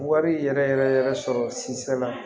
Wari yɛrɛ yɛrɛ yɛrɛ sɔrɔ sinsɛ la